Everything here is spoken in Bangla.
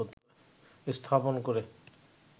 স্থাপন করে